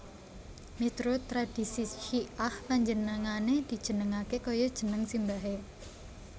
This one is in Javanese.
Miturut tradhisi Syi ah panjenengané dijenengaké kaya jeneng simbahé